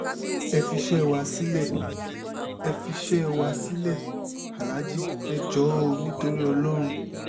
ẹ fiṣẹ́ wa sílé ẹ fiṣẹ́ wa sílẹ̀ aláàjì ẹ̀ jọ̀ọ́ o nítorí ọlọ́run